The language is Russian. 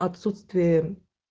отсутствие